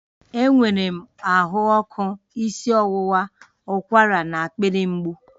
Enwere m ahụ ọkụ, isi ọwụwa, ụkwara na akpịrị mgbu